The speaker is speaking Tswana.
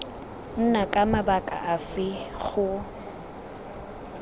nna ka mabaka afe go